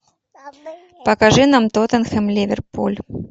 покажи нам тоттенхэм ливерпуль